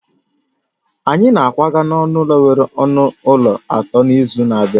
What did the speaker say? Anyị na-akwaga n'ụlọ nwere ọnụ ụlọ atọ n'izu na-abịa